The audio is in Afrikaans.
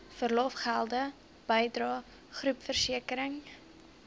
verlofgelde bydrae groepversekering